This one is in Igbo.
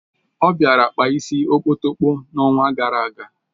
O bịara kpaa isi okpotokpo n'ọnwa gara aga